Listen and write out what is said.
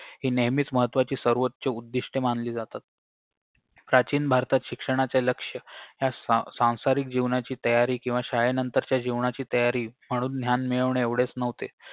हि नेहमीच महत्वाची सर्वोच्च उद्दिष्ट्ये मानली जातात प्राचीन भारतात शिक्षणाचे लक्ष्य या सां सांसारिक जीवनाची तयारी किंवा शाळेनंतरच्या जीवनाची तयारी म्हणून ज्ञान मिळवणे एवढेच न्हवते